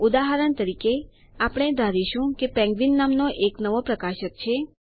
ઉદાહરણ તરીકે આપણે ધારીશું કે પેન્ગ્વીન નામનો એક નવો પ્રકાશક છે